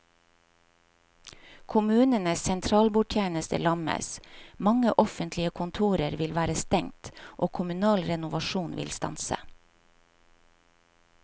Kommunenes sentralbordtjeneste lammes, mange offentlige kontorer vil være stengt og kommunal renovasjon vil stanse.